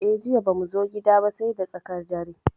Eh, Jiya bamu zo gida ba sai da tsakar dare.